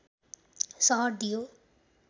सहर दियो